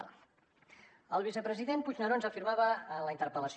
el vicepresident puigneró ens afirmava en la interpel·lació